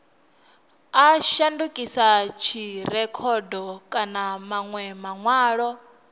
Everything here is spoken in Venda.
a shandukisa dzirekhodo kana manwe manwalo